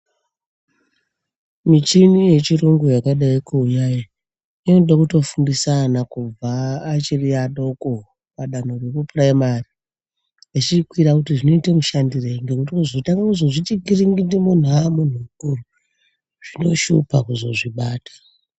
Michini ye chirungu yakadai kuuya iyi inoda kuto fundisa ana kubva achiri adoko pa danho reku puraimari echi kwira kuti zvinoite mushandirei ngekuti kuzotanga kuzozviti kiringindi muntu amunhu mukuru zvino shupa kuzozvi bata.